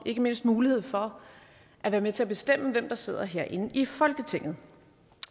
ikke mindst mulighed for at være med til at bestemme hvem der sidder herinde i folketinget